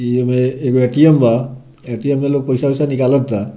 ई एमे एगो ए.टी.एम. बा ए.टी.एम. मे लोग पैसा-वैसा निकलता।